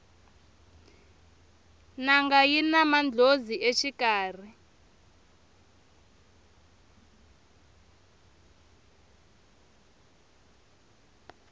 nanga yina mandlhozi exikarhi